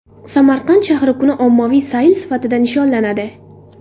Samarqand shahri kuni ommaviy sayl sifatida nishonlanadi.